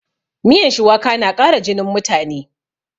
Miyan shuwaka na ƙara jinin mutane